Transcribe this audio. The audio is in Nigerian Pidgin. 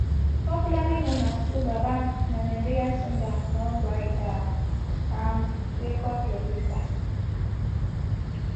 popularly known as twobaba na nigerian singer songwriters and record producer